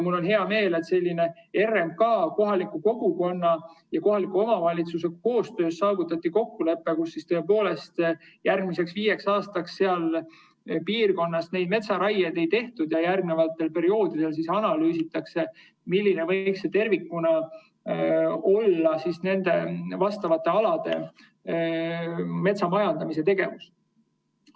Mul on hea meel, et RMK, kohaliku kogukonna ja kohaliku omavalitsuse koostöös saavutati kokkulepe järgmiseks viieks aastaks, et tõepoolest seal piirkonnas metsaraieid ei tehta ja järgnevatel perioodidel analüüsitakse, milline võiks tervikuna olla nendel aladel metsamajandustegevus.